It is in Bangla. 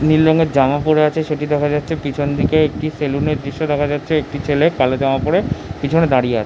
নীল রঙের জামা পরে আছে সেটি দেখা যাচ্ছে পিছন দিকে একটি সালুনের দৃশ্য দেখা যাচ্ছে একটি ছেলে কালো জামা পরে পিছনে দাঁড়িয়ে আ--